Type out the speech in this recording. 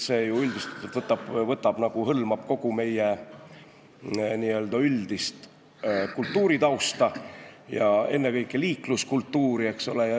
See ju hõlmab kogu meie üldist kultuuritausta ja ennekõike liikluskultuuri, eks ole.